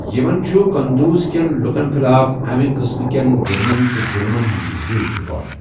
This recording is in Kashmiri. یِمن چُھ قنٛدوز کیٚن لُکن خٕلاف اَمہِ قٕسمہٕ کیٚن جُرمن تہٕ ظُلمن ہِنٛد زیٖوُٹھ ریٚکارڈ۔